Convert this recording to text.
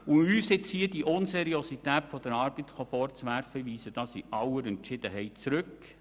Uns nun hier Unseriosität bei unserer Arbeit vorzuwerfen, gebe ich in aller Entschiedenheit zurück.